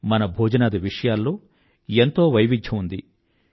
మన భోజనాది విషయాల్లో ఎంతో వైవిధ్యం ఉంది